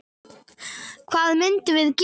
Hvað myndum við gera?